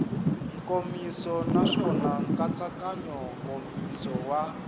nkomiso naswona nkatsakanyo nkomiso wa